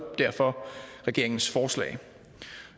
derfor regeringens forslag